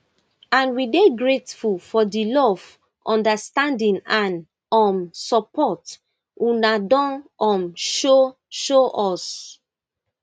and we dey grateful for di love understanding and um support una don um show show us